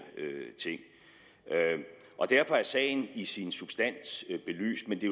ting derfor er sagen i sin substans belyst men det